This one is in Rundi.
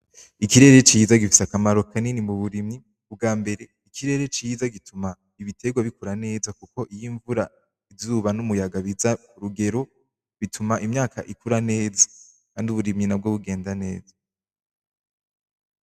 Ikirere ciza gifise akamaro kanini muburimyi, umbwabere ikirere ciza gituma ibiterwa bikura neza kuko iyo imvura izuba n'umuyaga biza rugero, bituma imyaka ikura neza kandi uburimyi nabwo bugenda neza.